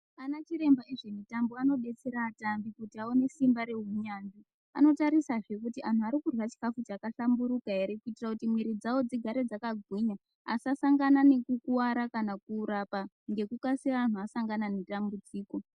Ana chiremba ezvemitambo anobetsere vatambi kuti vaone simba rezveu yanzvi anotarisazve kuti antu arikurya chikafu chakahlamburuka ere kuitira kuti mwiri dzawo dzigare dzakagwinya asasangane nekukuwara kana kurapa ngekukasira kana antu asangana nedambudziko.